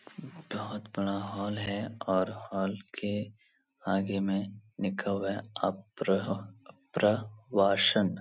बहुत बड़ा हॉल है और हॉल के आगे में लिखा हुआ है अप्रह अप्रवाशन।